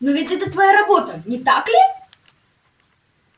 но ведь это твоя работа не так ли